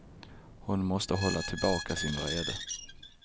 Hon måste hålla tillbaka sin vrede.